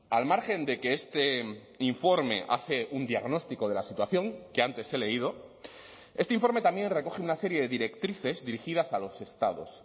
al margen de que este informe hace un diagnóstico de la situación que antes he leído este informe también recoge una serie de directrices dirigidas a los estados